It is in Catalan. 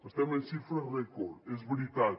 estem en xifres rècord és veritat